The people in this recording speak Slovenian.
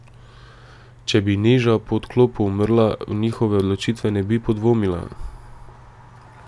Če bi Neža po odklopu umrla, v njihove odločitve ne bi podvomila.